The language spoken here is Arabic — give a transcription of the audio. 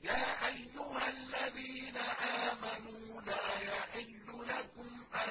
يَا أَيُّهَا الَّذِينَ آمَنُوا لَا يَحِلُّ لَكُمْ أَن